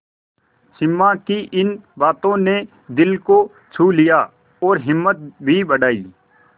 सिमा की इन बातों ने दिल को छू लिया और हिम्मत भी बढ़ाई